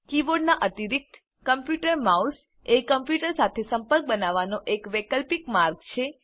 કીબોર્ડનાં અતિરિક્ત computer mouse એ computer સાથે સંપર્ક બનાવવાનો એક વૈકલ્પિક માર્ગ છે